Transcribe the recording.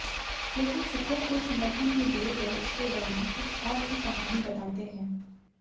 लेकिन सिखों के समर्थन में दिए गए उसके बयान कुछ और ही कहानी बताते हैं